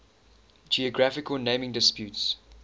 geographical naming disputes